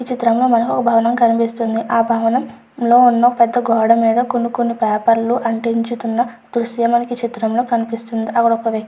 ఈ చిత్రంలో మనకి ఒక భవనం కనిపిస్తుంది ఆ భవనం లోను గోడమీద కొన్ని కొన్ని పేపర్ లు అంటించితున్న దృశ్యం మనకిక్కడ కనిపిస్తుంది అక్కడ ఒక వ్యక్తి --